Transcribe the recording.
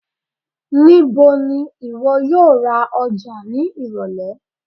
Nibo ni iwọ yoo ra Oja ni irọlẹ?